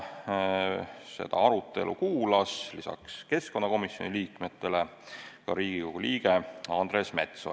Seda arutelu kuulas lisaks keskkonnakomisjoni liikmetele ka Riigikogu liige Andres Metsoja.